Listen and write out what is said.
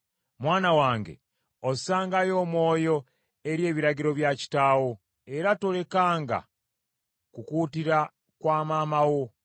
Mwana wange ossangayo omwoyo eri ebiragiro bya kitaawo, era tolekanga kukuutira kwa maama wo;